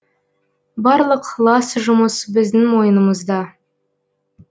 барлық лас жұмыс біздің мойнымызда